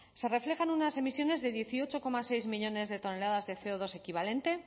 se reflejan unas emisiones de dieciocho coma seis millónes de toneladas de ce o dos equivalente